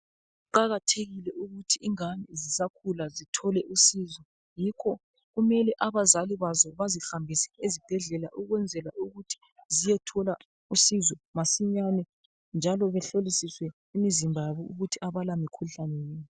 Kuqakathekile ukuthi ingane zisakhula zithole usizo. Yikho kumele abazali bazo bazihambise ezibhedlela ukwenzela ukuthi ziyethola usizo masinyane njalo behlolisiswe imizimba yabo ukuthi abalamikhuhlane yini.